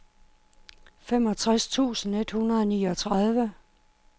femogtres tusind et hundrede og niogtredive